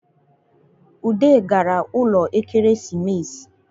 Ude gara ụlọ Ekeresimesi